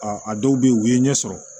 a dɔw bɛ yen u ye ɲɛ sɔrɔ